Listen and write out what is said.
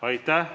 Aitäh!